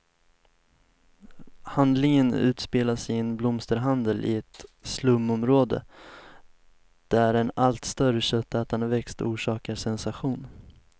Handlingen utspelas i en blomsterhandel i ett slumområde, där en allt större köttätande växt orsakar sensation.